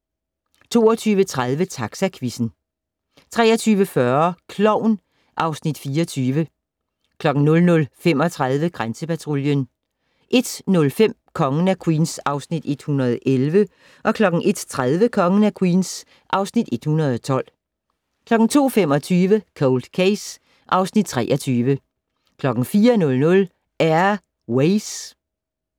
22:30: Taxaquizzen 23:40: Klovn (Afs. 24) 00:35: Grænsepatruljen 01:05: Kongen af Queens (Afs. 111) 01:30: Kongen af Queens (Afs. 112) 02:25: Cold Case (Afs. 23) 04:00: Air Ways